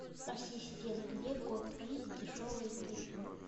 ассистент где купить дешевые тыквы